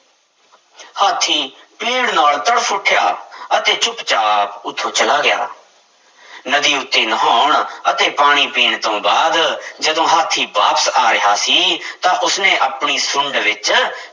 ਹਾਥੀ ਪੀੜ੍ਹ ਨਾਲ ਤੜਫ਼ ਉੱਠਿਆ ਅਤੇ ਚੁੱਪ ਚਾਪ ਉੱਥੋਂ ਚਲਾ ਗਿਆ ਨਦੀ ਉੱਤੇ ਨਹਾਉਣ ਅਤੇ ਪਾਣੀ ਪੀਣ ਤੋਂ ਬਾਅਦ ਜਦੋਂ ਹਾਥੀ ਵਾਪਸ ਆ ਰਿਹਾ ਸੀ ਤਾਂ ਉਸਨੇ ਆਪਣੀ ਸੁੰਡ ਵਿੱਚ